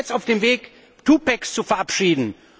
Wir sind jetzt auf dem Weg, Twopacks zu verabschieden.